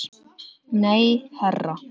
Nei, herra